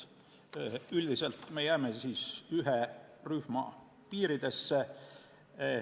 Üldiselt me jääme ühe rühma piiridesse.